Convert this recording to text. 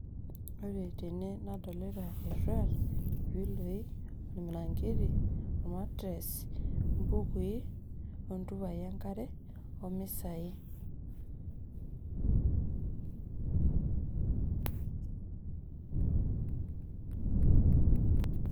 Ore tene nadolita erruat irpiloi ormiranketi or mattres o mbukui o ntupai enkare o misai'